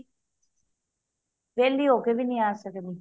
ਵੇਹਲੀ ਹੋ ਕੇ ਵੀ ਨਹੀਂ ਆ ਸਕਦੀ